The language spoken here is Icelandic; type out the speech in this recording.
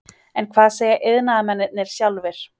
En hvað segja iðnaðarmennirnir sjálfir?